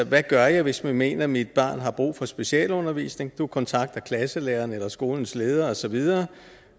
hvad gør jeg hvis man mener at mit barn har brug for specialundervisning du kontakter klasselæreren eller skolens leder og så videre